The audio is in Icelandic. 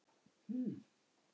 Voru þetta fimm eða sex mörk?